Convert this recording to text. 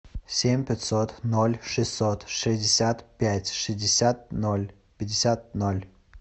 семь пятьсот ноль шестьсот шестьдесят пять шестьдесят ноль пятьдесят ноль